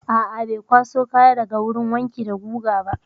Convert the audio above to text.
A'a, bai kwaso kaya daga wurin wanki da guga ba.